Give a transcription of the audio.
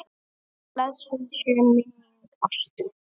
Blessuð sé minning Ástu.